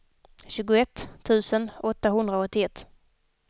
tjugoett tusen åttahundraåttioett